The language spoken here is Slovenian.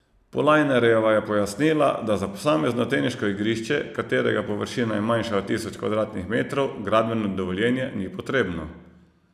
Polajnarjeva je pojasnila, da za posamezno teniško igrišče, katerega površina je manjša od tisoč kvadratnih metrov, gradbeno dovoljenje ni potrebno.